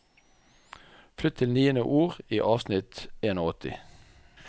Flytt til niende ord i avsnitt åttien